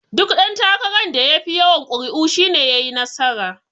Duk ɗan takaran da yafi yawan kuri'u shi ne yayi nasara.